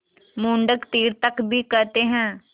मंडूक तीर्थक भी कहते हैं